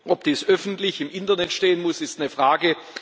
Ob dies öffentlich im Internet stehen muss, ist eine Frage.